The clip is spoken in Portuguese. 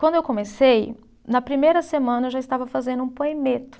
Quando eu comecei, na primeira semana eu já estava fazendo um poemeto.